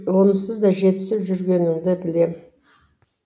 онсыз да жетісіп жүрмегеніңді білем